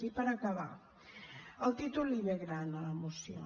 i per acabar el títol li ve gran a la moció